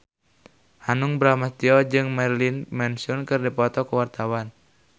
Hanung Bramantyo jeung Marilyn Manson keur dipoto ku wartawan